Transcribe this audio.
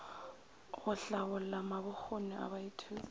go hlabolla mabokgoni a baithuti